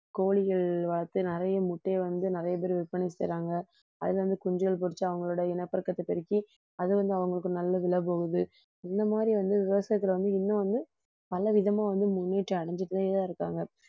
கோழிகள் வளர்த்து நிறைய முட்டையை வந்து நிறைய பேர் விற்பனை செய்யறாங்க அதில இந்த குஞ்சுகள் பொரிச்சு அவங்களோட இனப்பெருக்கத்தைப் பெருக்கி அது வந்து அவங்களுக்கு நல்லதுல போகுது இந்த மாதிரி வந்து விவசாயத்தில வந்து இன்னும் வந்து பலவிதமா வந்து முன்னேற்றம் அடைஞ்சிட்டேதான் இருக்காங்க